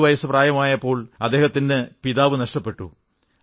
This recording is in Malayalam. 8 വയസ്സു പ്രായമായപ്പോൾ അദ്ദേഹത്തിന് പിതാവിനെ നഷ്ടപ്പെട്ടു